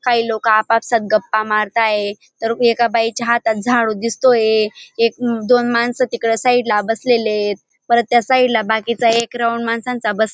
काही लोक आपापसात गप्पा मारत आहेत तर एका बाईच्या हातात झाडू दिसतोये एक दोन मानस तिकडे साईड ला बसलेलेत परत त्या साईड ला बाकीचा एक राउंड माणसांचा बस --